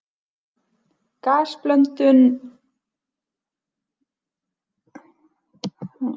Gasblöndunni er því næst þjappað saman með bullum.